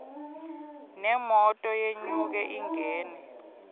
nemoto yenyuke ingene